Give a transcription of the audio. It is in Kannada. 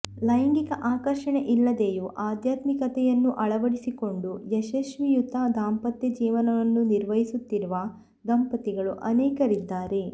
ಲೈಂಗಿಕ ಆಕರ್ಷಣೆ ಇಲ್ಲದೆಯು ಆಧ್ಯಾತ್ಮಿಕತೆಯನ್ನು ಅಳವಡಿಸಿಕೊಂಡು ಯಶಸ್ವಿಯುತ ದಾಂಪತ್ಯ ಜೀವನವನ್ನು ನಿರ್ವಹಿಸುತ್ತಿರುವ ದಂಪತಿಗಳು ಅನೇಕರಿದ್ದಾರೆ